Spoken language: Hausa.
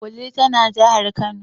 Wudil tana jahar kano.